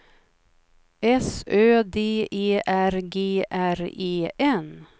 S Ö D E R G R E N